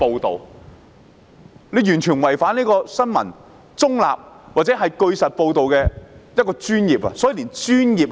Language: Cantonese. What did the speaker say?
他們完全違反新聞中立或據實報道的專業精神。